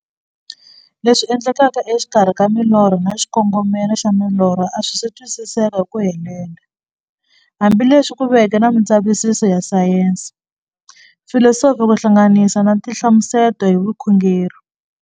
Leswi endlekaka e xikarhi ka milorho na xikongomelo xa milorho a swisi twisisiwa hi ku helela, hambi leswi ku veke na mindzavisiso ya sayensi, filosofi ku hlanganisa na tinhlamuselo hi vukhongori.